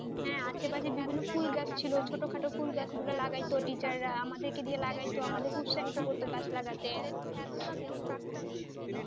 আশেপাশের বিভিন্ন ফুল গাছ ছিল ছোটখাটো ফুল গাছগুলো লাগাইত টিচাররা আমাদেরকে দিয়ে লাগাইতো, আমাদেরকে উৎসাহিত করতো গাছ লাগানোর জন্য,